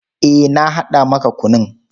Eh, na haɗa maka kunun.